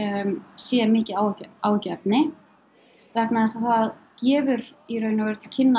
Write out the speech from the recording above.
sé mikið áhyggjuefni áhyggjuefni vegna þess að það gefur í raun og veru til kynna